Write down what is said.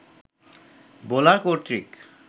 bowler কর্তৃক